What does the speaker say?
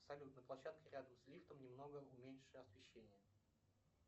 салют на площадке рядом с лифтом немного уменьши освещение